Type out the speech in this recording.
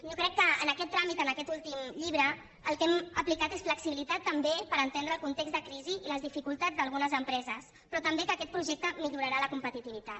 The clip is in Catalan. jo crec que en aquest tràmit en aquest últim llibre el que hem aplicat és flexibilitat també per entendre el context de crisi i les dificultats d’algunes empreses però també que aquest projecte millorarà la competitivitat